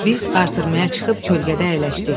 Biz artırmaya çıxıb kölgədə əyləşdik.